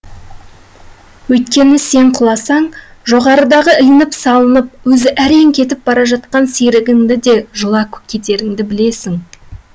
өйткені сен құласаң жоғарыдағы ілініп салынып өзі әрең кетіп бара жатқан серігіңді де жұла кетеріңді білесің